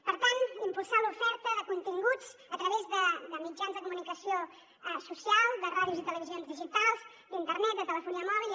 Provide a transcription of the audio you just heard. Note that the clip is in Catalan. per tant impulsar l’oferta de continguts a través de mitjans de comunicació social de ràdios i televisions digitals d’internet de telefonia mòbil